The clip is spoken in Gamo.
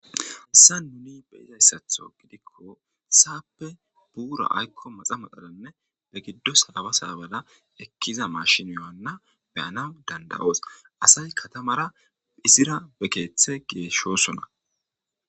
Hassa nuni be izayssatho gidikko saappe buura aykko maxa maxadanne be giddo saaba saabada ekkiza mashiniyowanna beyanaw dandayoos. asay katamara izira be keeththe geeshshosona.